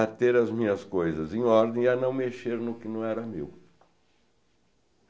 a ter as minhas coisas em ordem e a não mexer no que não era meu.